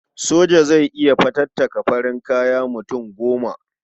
Soja zai iya fatattaka farin kaya mutum goma.